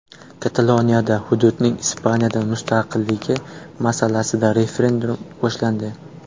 Kataloniyada hududning Ispaniyadan mustaqilligi masalasida referendum boshlandi.